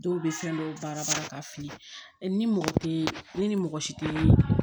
Dɔw bɛ fɛn dɔw baara bara k'a fili ni mɔgɔ tɛ ne ni mɔgɔ si te